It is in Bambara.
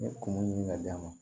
N ye kungo ɲini ka d'a ma